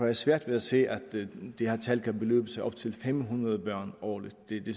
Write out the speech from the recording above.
jeg svært ved at se at det her tal kan beløbe sig til fem hundrede børn årligt det